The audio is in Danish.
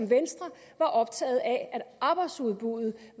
venstre var optaget af at arbejdsudbuddet